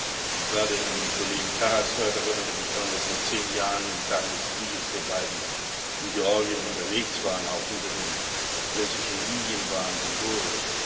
Als ich gerade den Kollegen Karas hörte, erinnerte ich mich daran, dass wir beide vor zehn Jahren, in Tagen des Kriegs, in Georgien unterwegs waren, auch hinter den russischen Linien waren, in Gori.